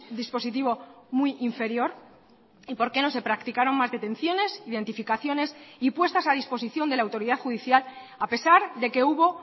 dispositivo muy inferior y por qué no se practicaron más detenciones identificaciones y puestas a disposición de la autoridad judicial a pesar de que hubo